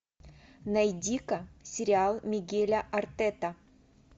найди ка сериал мигеля артета